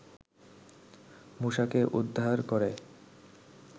মুসাকে উদ্ধার করে